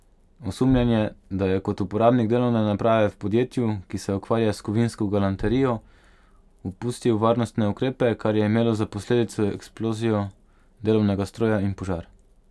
Osumljen je, da je kot uporabnik delovne naprave v podjetju, ki se ukvarja s kovinsko galanterijo, opustil varnostne ukrepe, kar je imelo za posledico eksplozijo delovnega stroja in požar.